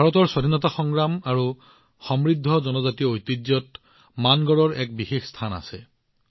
ভাৰতৰ স্বাধীনতা সংগ্ৰাম আৰু আমাৰ সমৃদ্ধ জনজাতীয় ঐতিহ্যত মানগড়ৰ এক বিশেষ স্থান আছে